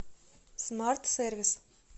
смарт сервис